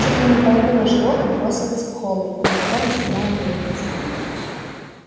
чуть ли не половина животных бросилась к холмику на котором стояла мельница